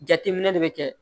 Jateminɛ de bɛ kɛ